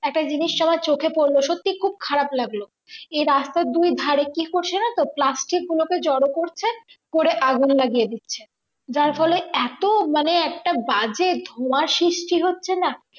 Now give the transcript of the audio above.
একটা জিনিস আমার চোখে পড়লো, সত্যিই খুব খারাপ লাগলো এই রাস্তার দুই ধারে কি করছে জানো তো? plastic গুলোকে জড়ো করছে, করে আগুন লাগিয়ে দিচ্ছে। যার ফলে এত মানে একটা বাজে ধোঁয়া সৃষ্টি হচ্ছে না